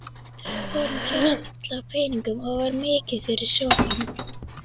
Honum hélst illa á peningum og var mikið fyrir sopann.